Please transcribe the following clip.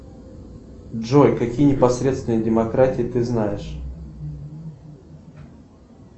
джой какие непосредственные демократии ты знаешь